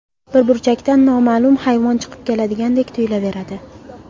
Bir burchakdan noma’lum hayvon chiqib keladigandek tuyulaveradi.